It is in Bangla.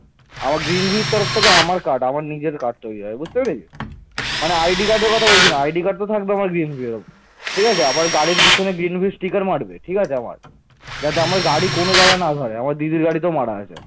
যাতে আমার গাড়ি কোন জায়গায় না ধরে আছে।